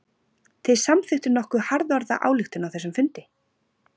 Þið samþykktuð nokkuð harðorða ályktun á þessum fundi?